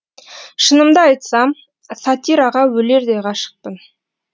шынымды айтсам сатираға өлердей ғашықпын